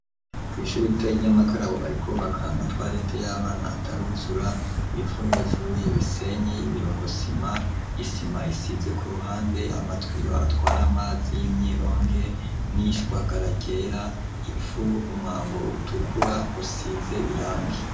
Kw'ishuri rito ry'inyamakarabo bariko bubaka amatwarete y'abana ataruzura ,ibivu hejuru, ibisenyi ,ibirogosima ,isima isize ku ruhande ,amatwiyo atwara amazi y'imyironge ,n'ishwagara ryera, ivu ,umwango utukura usize irangi.